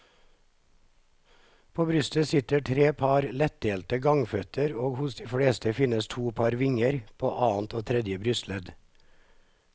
På brystet sitter tre par leddelte gangføtter og hos de fleste finnes to par vinger, på annet og tredje brystledd.